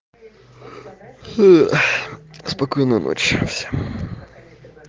спокойной ночи всем